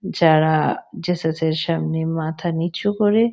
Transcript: যারা জেসাসের সামনে মাথা নিচু করে।